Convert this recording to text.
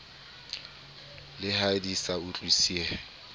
le ha di sa utlwisisehe